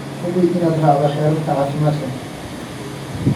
Hubi inaad raacdo xeerarka caafimaadka.